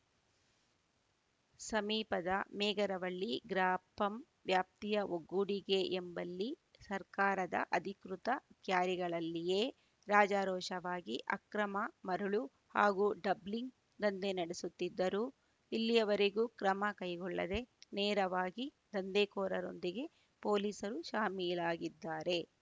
ಸಮೀಪದ ಮೇಗರವಳ್ಳಿ ಗ್ರಾಪಂ ವ್ಯಾಪ್ತಿಯ ಒಗ್ಗೊಡಿಗೆ ಎಂಬಲ್ಲಿ ಸರ್ಕಾರದ ಅಧಿಕೃತ ಕ್ಯಾರಿಗಳಲ್ಲಿಯೇ ರಾಜಾರೋಷವಾಗಿ ಅಕ್ರಮ ಮರಳು ಹಾಗೂ ಡಬ್ಲಿಂಗ್‌ ದಂಧೆ ನಡೆಯುತ್ತಿದ್ದರೂ ಇಲ್ಲಿಯವರೆಗೂ ಕ್ರಮ ಕೈಗೊಳ್ಳದೆ ನೇರವಾಗಿ ದಂಧೆಕೋರರೊಂದಿಗೆ ಪೊಲೀಸರು ಶಾಮೀಲಾಗಿದ್ದಾರೆ